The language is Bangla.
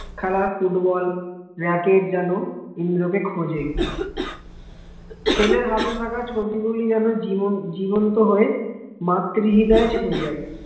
খেলার ফুটবল ব্রাকেট যেন ইন্দ্রকে খোঁজে ছেলে হাতে থাকা ছবিগুলি যেন জীবন জীবন্ত হয়ে মাতৃ হৃদয় ছুয়ে জাই